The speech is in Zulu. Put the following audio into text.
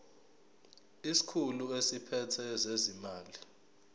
isikhulu esiphethe ezezimali